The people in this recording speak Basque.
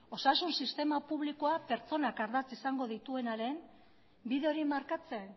osasun sistema publikoak pertsonak ardatz izango dituenaren bide hori markatzen